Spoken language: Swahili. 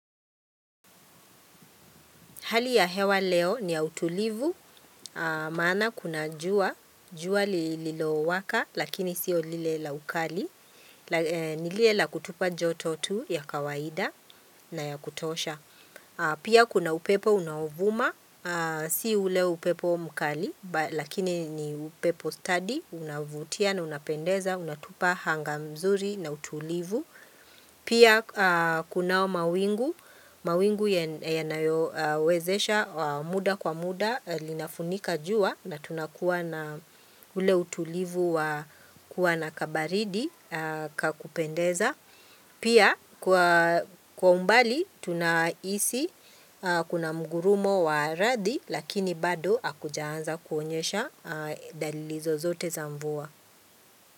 Hali ya hewa leo ni ya utulivu, maana kuna jua, jua lililowaka lakini sio lile la ukali, nilile la kutupa joto tu ya kawaida na ya kutosha. Pia kuna upepo unaovuma, si ule upepo mkali lakini ni upepo stadi, unavutia na unapendeza, unatupa hanga mzuri na utulivu. Pia kunao mawingu, mawingu yanayo wezesha muda kwa muda linafunika jua na tunakuwa na ule utulivu wa kuwa na kabaridi kakupendeza. Pia kwa umbali tunaisi kuna mgurumo wa radi lakini bado hakujaanza kuonyesha dalili zozote za mvua.